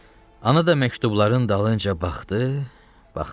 Ana da məktubların dalınca baxdı, baxdı.